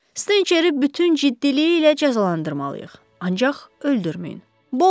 Stenkeri bütün ciddiliyi ilə cəzalandırmalıyıq, ancaq öldürməyin.